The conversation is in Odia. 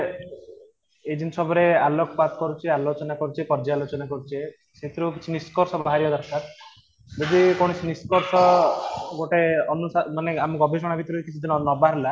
ଏ ଜିନିଷ ଉପରେ ଆଲୋକପାତ କରୁଛେ ଆଲୋଚନା କରୁଛେ କାର୍ଯ୍ୟ ଆଲୋଚନା କରୁଛେ ସେଇଥିରୁ କିଛି ନିଷ୍କର୍ସ ବାହାରିବା ଦରକାର ଯଦି କୌଣସି ନିଷ୍କର୍ଷ ଗୋଟେ ଅନୁସାରେ ମାନେ ଆମେ ଗବେଷଣା ଭିତରେ କିଛି ଦିନ ନବା ହେଲା